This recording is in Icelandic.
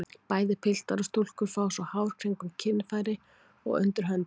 Bæði piltar og stúlkur fá svo hár kringum kynfæri og undir höndum.